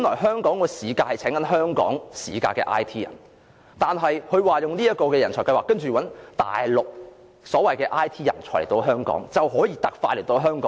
香港是聘請香港市價的 IT 人，但局長說透過科技人才入境計劃，內地的 IT 人才可以特快來到香港。